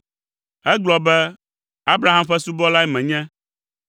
Egblɔ be, “Abraham ƒe subɔlae menye.